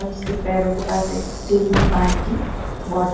उसके पैरों के पास एक स्टील की पानी की बोतल--